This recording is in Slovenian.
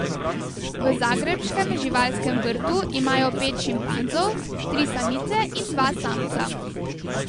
V zagrebškem živalskem vrtu imajo pet šimpanzov, tri samice in dva samca.